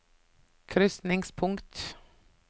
krysningspunkt